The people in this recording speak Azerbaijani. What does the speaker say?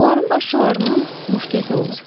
Onların başlıqlarından muşket olmur.